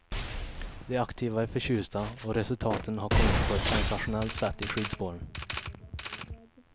De aktiva är förtjusta och resultaten har kommit på ett sensationellt sätt i skidspåren.